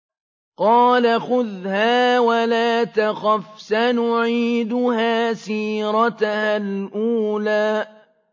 قَالَ خُذْهَا وَلَا تَخَفْ ۖ سَنُعِيدُهَا سِيرَتَهَا الْأُولَىٰ